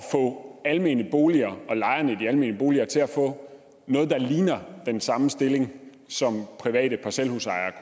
få almene boliger og lejerne af de almene boliger til at få noget der ligner den samme stilling som private parcelhusejere